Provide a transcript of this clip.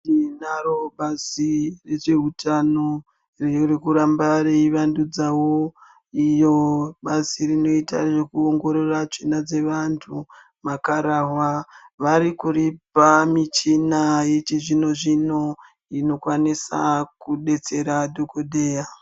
Tinaro bazi rezve utano, ririkuramba reivandunzawo iyo bazi rinoita zvekuongorora tsvina dzevanhu makararwa vari kuripa michina yechizvinozvino inokwanisa kudetsera dhokodheya.